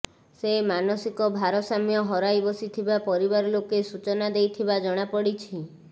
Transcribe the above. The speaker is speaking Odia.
ସେ ମାନସିକ ଭାରସାମ୍ୟ ହରାଇ ବସିଥିବା ପରିବାର ଲୋକେ ସୂଚନା ଦେଇଥିବା ଜଣାପଡିଛି